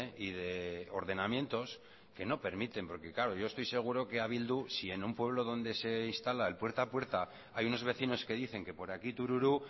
y de ordenamientos que no permiten porque claro yo estoy seguro que a bildu si en un pueblo donde se instala el puerta a puerta hay unos vecinos que dicen que por aquí tururú